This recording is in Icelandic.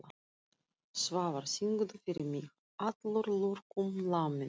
Svafar, syngdu fyrir mig „Allur lurkum laminn“.